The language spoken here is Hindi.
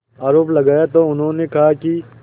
आरोप लगाया तो उन्होंने कहा कि